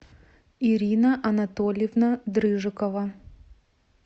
ирина анатольевна дрыжикова